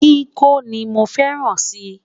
kíkọ ní mọ fẹràn si